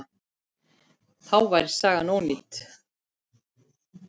Þá væri sagan ónýt.